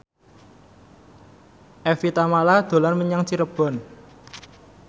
Evie Tamala dolan menyang Cirebon